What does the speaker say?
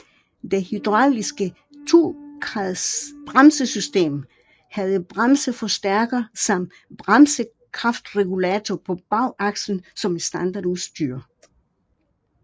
Det hydrauliske tokredsbremsesystem havde bremseforstærker samt bremsekraftregulator på bagakslen som standardudstyr